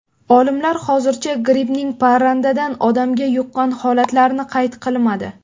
Olimlar hozircha grippning parrandadan odamga yuqqan holatlarini qayd qilmadi.